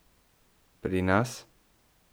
Pri nas?